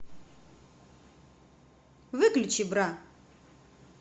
выключи бра